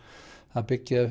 að byggja